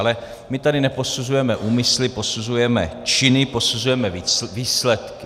Ale my tady neposuzujeme úmysly, posuzujeme činy, posuzujeme výsledky.